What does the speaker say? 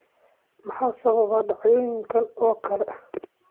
Maxaa sababa dhacdooyinkan oo kale?